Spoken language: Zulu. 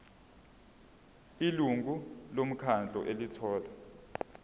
ilungu lomkhandlu elithola